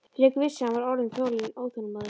Friðrik vissi, að hann var orðinn óþolinmóður.